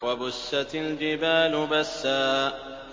وَبُسَّتِ الْجِبَالُ بَسًّا